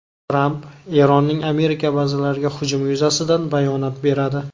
Tramp Eronning Amerika bazalariga hujumi yuzasidan bayonot beradi.